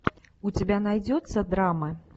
у тебя найдется драма